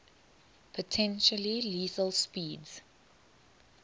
potentially lethal speeds